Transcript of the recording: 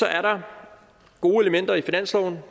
er der gode elementer i finansloven